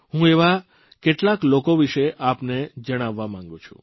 હું એવા કેટલાક લોકો વિષે આપને જણાવવા માંગું છું